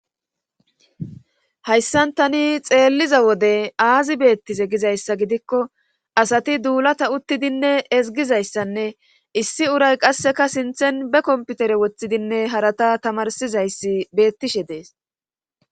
hayssan tani xeelliza wode aazi beettise gizayssa gidikko asati duulata uttidinne ezgizayssanne issi uray qasseka sinthen be komputere woththidinne harata tamarsizayssi beettishe dees